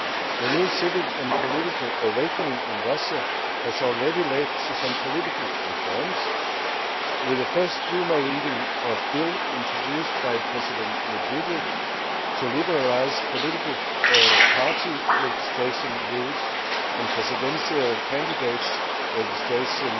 The new civic and political awakening in Russia has already led to some political reforms, with the first Duma reading of bills introduced by President Medvedev to liberalise political party registration rules and presidential candidates' registrations